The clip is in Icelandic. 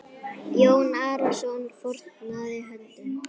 Jón Arason fórnaði höndum.